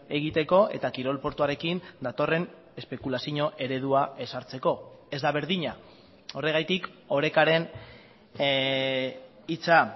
egiteko eta kirol portuarekin datorren espekulazio eredua ezartzeko ez da berdina horregatik orekaren hitza